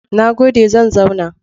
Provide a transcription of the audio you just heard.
Na gode, zan zauna.